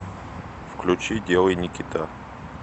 включи делай никита